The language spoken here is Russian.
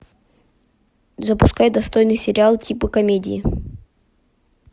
запускай достойный сериал типа комедии